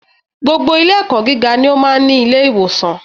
Gbogbo ilé ẹ̀kọ́ gíga ló máa ń ní ilé-ìwòsàn.